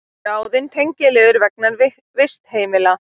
Ráðin tengiliður vegna vistheimila